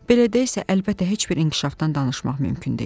Belədə isə, əlbəttə, heç bir inkişafdan danışmaq mümkün deyil.